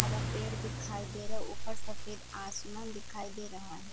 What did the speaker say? हरा पेड़ दिखाई दे रहा है ऊपर सफेद आसमान दिखाई दे रहा है।